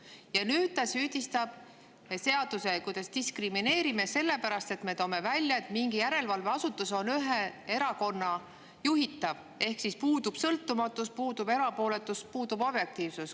Ja nüüd ta süüdistab meid diskrimineerimises, sellepärast et me tõime välja, et mingi järelevalveasutus on ühe erakonna juhitud ehk siis puudub sõltumatus, puudub erapooletus, puudub objektiivsus.